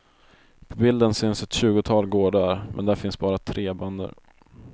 På bilden syns ett tjugotal gårdar, men där finns bara tre bönder.